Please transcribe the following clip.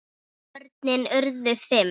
Börnin urðu fimm.